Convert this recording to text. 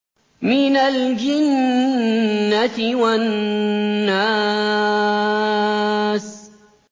مِنَ الْجِنَّةِ وَالنَّاسِ